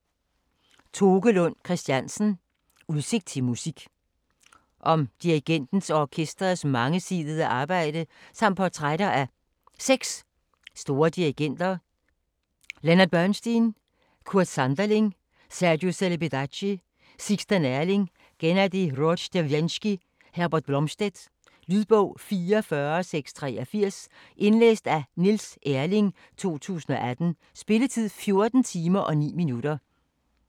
Lund Christiansen, Toke: Udsigt til musik Om dirigentens og orkesterets mangesidede arbejde samt portrætter af 6 store dirigenter: Leonard Bernstein, Kurt Sanderling, Sergiu Celibidache, Sixten Ehrling, Gennady Rozhdestvensky, Herbert Blomstedt. Lydbog 44683 Indlæst af Niels Erling, 2018. Spilletid: 14 timer, 9 minutter.